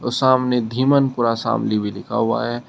और सामने धिमनपुरा शामली भी लिखा हुआ है।